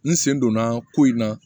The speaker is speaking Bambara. N sen donna ko in na